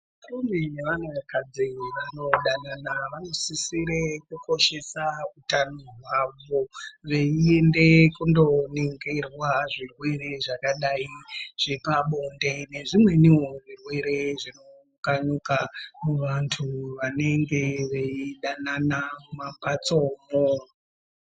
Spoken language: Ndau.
Varume nevanakadzi vanodanana vanosisire kukoshesa utano hwavo. Veiende kunoningirwa zvirwere zvakadai zvepabonde nezvimwenivo zvirwere zvinokanuka vantu vanenge veidanana muma mbatsomo.